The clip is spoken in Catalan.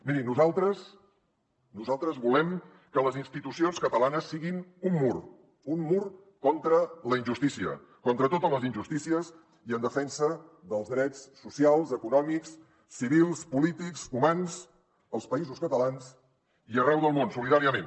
miri nosaltres nosaltres volem que les institucions catalanes siguin un mur un mur contra la injustícia contra totes les injustícies i en defensa dels drets socials econòmics civils polítics humans als països catalans i arreu del món solidàriament